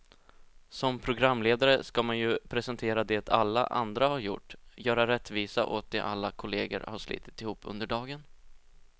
Som programledare ska man ju presentera det alla andra har gjort, göra rättvisa åt det alla kollegor har slitit ihop under dagen.